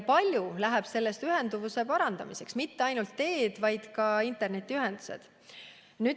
Palju sellest läheb ühenduvuse parandamiseks, mitte ainult teede ehitusse, vaid ka internetiühenduse loomisse.